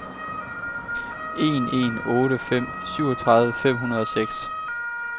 en en otte fem syvogtredive fem hundrede og seks